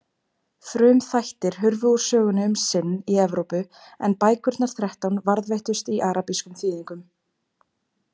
Frumþættir hurfu úr sögunni um sinn í Evrópu en bækurnar þrettán varðveittust í arabískum þýðingum.